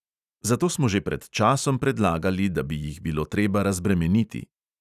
Zato smo že pred časom predlagali, da bi jih bilo treba razbremeniti.